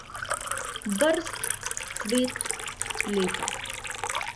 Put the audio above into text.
Brst, cvet, lepa.